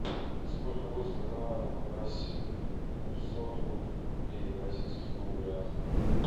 сколько будет одна восемьсот рупей в российских рублях